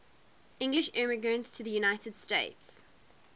english immigrants to the united states